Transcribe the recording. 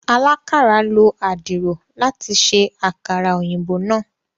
alakàra ló Àdìrò láti ṣe àkàrà òyìnbó náa.